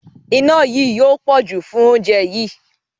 Iná yí yóò pọ̀jù fún oúnjẹ yí.